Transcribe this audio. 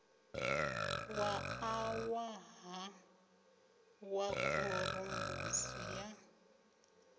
wa ṋaṅwaha wa khorombusi ya